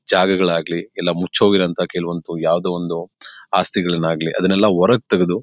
ಜಾಗಗಳಾಗಲಿ ಇಲ್ಲ ಮುಚ್ಚಿ ಹೋಗಿರುವಂತ ಕೆಲವಂದು ಯಾವುದೊ ಒಂದು ಆಸ್ತಿಗಳನ್ನಾಗಲಿ ಅದನ್ನೆಲ್ಲಾ ಹೊರಗೆ ತಗೆದು--